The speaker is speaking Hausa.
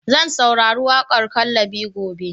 Zan saurari waƙar "Kallabi" gobe.